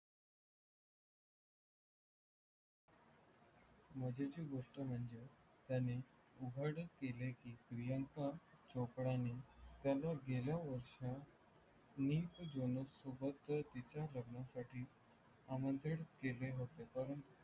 मजेची गोष्ट म्हणजे त्यानी उघड केले की प्रियंका चोपडाणी त्याला गेल्या वर्षात निक जॉन सोबत तिचा लग्नासाठी आमंत्रित केले होते परंतु